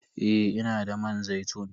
Eh, ina da man zaitun.